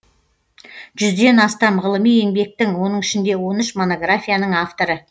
жүзден астам ғылыми еңбектің оның ішінде он үш монографияның авторы